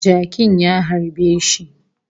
Jakin ya harbe shi